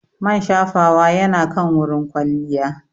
Man shafawa yana kan wurin kwalliya.